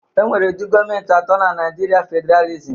E nwere ụdi gọmentị atọ na naijiria fedralisịm.